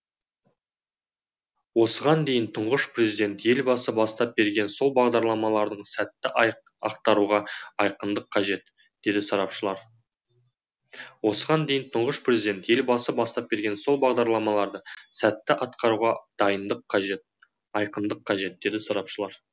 осыған дейін тұңғыш президент елбасы бастап берген сол бағдарламаларды сәтті атқаруға айқындық қажет дейді сарапшылар